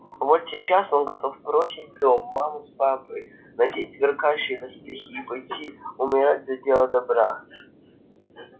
вот сейчас он готов бросить дом маму с папой надеть сверкающие доспехи и пойти умирать за дело добра